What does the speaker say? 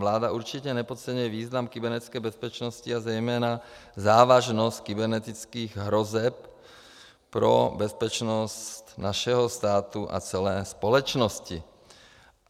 Vláda určitě nepodceňuje význam kybernetické bezpečnosti a zejména závažnost kybernetických hrozeb pro bezpečnost našeho státu a celé společnosti.